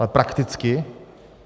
Ale prakticky?